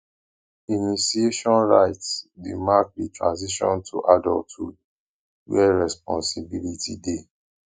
initiation rites dey mark di transition to adulthood where responsibility dey